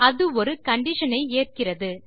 அது ஒரு கண்டிஷன் ஐ ஏற்கிறது